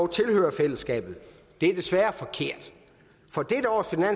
tilhører fællesskabet det er desværre forkert